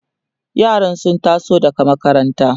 yaran sun taso daga makaranta